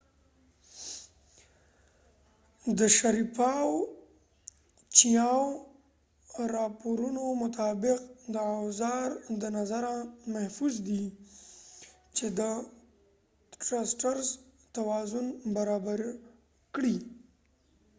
چېاو chiaoاو شاریپوف sharipov د راپورونو مطابق د اوزا ر د نظره محفوظ دي . چې د ټرسټرزtrusters توازن برابر کړي